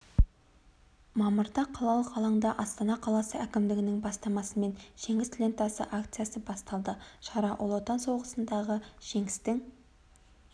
мамырда қалалық алаңда астана қаласы әкімдігінің бастамасымен жеңіс лентасы акциясы басталды шара ұлы отан соғысындағы жеңістің